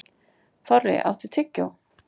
Þorri, áttu tyggjó?